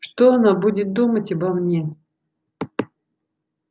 что она будет думать обо мне